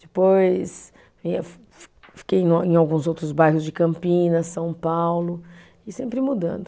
Depois eu fi fiquei em alguns outros bairros de Campinas, São Paulo, e sempre mudando.